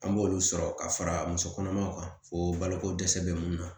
An b'olu sɔrɔ ka fara musokɔnɔmaw kan fo baloko dɛsɛ bɛ mun na